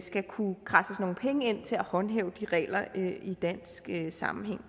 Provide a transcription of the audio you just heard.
skal kunne kradses nogle penge ind til at håndhæve de regler i dansk sammenhæng